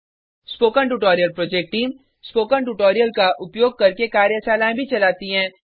spoken tutorial project team spoken tutorial का उपयोग करके कार्यशालाएँ भी चलाती है